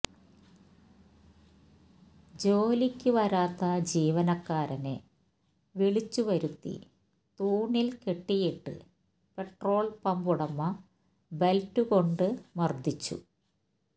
ജോലിക്ക് വരാത്ത ജീവനക്കാരനെ വിളിച്ചുവരുത്തി തൂണില് കെട്ടിയിട്ട് പെട്രോള് പമ്പുടമ ബെല്റ്റുകൊണ്ട് മര്ദ്ദിച്ചു